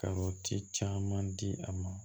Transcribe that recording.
Karɔti caman di a ma